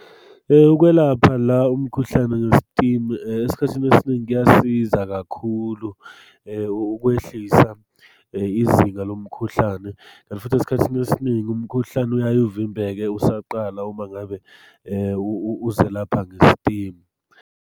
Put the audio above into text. Ukwelapha la umkhuhlane nge-steam, esikhathini esiningi kuyasiza kakhulu ukwehlisa izinga lomkhuhlane, kanti futhi esikhathini esiningi umkhuhlane uyaye uvimbeke usaqala uma ngabe uzelapha nge-steam.